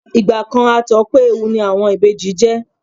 igba kan a t'ọpẹ ẹwù ni àwọn Ìbejì je